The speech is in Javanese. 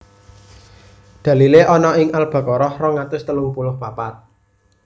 Dalilé ana ing Al Baqarah rong atus telung puluh papat